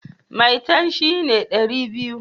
Maitan shi ne dari biyu